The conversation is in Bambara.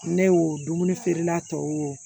Ne y'o dumuni feerela tɔw